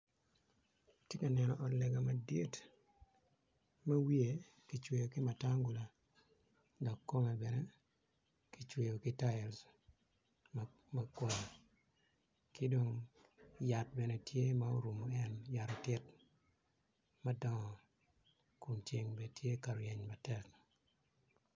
Atye ka neno ot lega madit ma wiye kicweyo ki matangula dok kome bene kicweyo ki tiles ki dong yat bene tye ma orumu ngete yat otit madongo Kun ceng bene tye ka ryeng matek